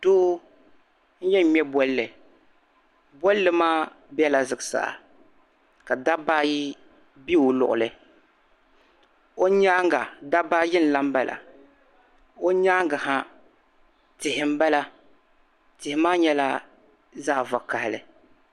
paɣa n yen ŋme bolli bolli maa bela zuɣusaa ka dabba ayi be o luɣ'li o nyaaŋa dabba ayi n lan bala o nyaaŋga ha tihi n bala tihi maa nyɛla zaɣ'vakahili.